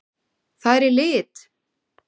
Það er í lit!